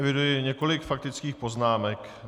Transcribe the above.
Eviduji několik faktických poznámek.